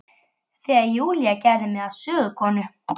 Þegar Júlía gerði mig að sögukonu.